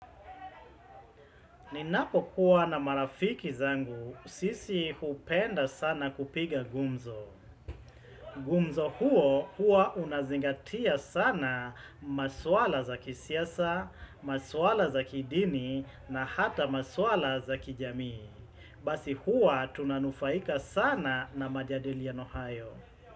Ninapokuwa na marafiki zangu sisi hupenda sana kupiga gumzo. Gumzo huo hua unazingatia sana maswala za kisiasa, maswala za kidini na hata maswala za kijami. Basi huwa tunanufaika sana na majadiliano hayo.